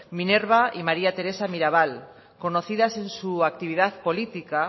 minerva y maría teresa mirabal conocidas en su actividad política